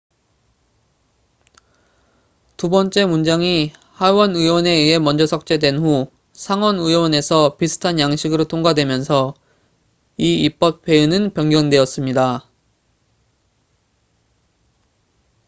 두 번째 문장이 하원 의원에 의해 먼저 삭제된 후 상원 의원에서 비슷한 양식으로 통과되면서 이 입법 회의는 변경되었습니다